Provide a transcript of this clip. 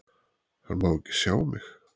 Hann má ekki sjá mig!